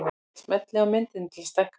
Smellið á myndina til að stækka hana.